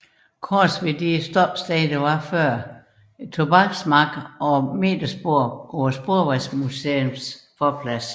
Course ved det tidligere stoppested Tobaksmarken og metersporet på Sporvejsmuseets forplads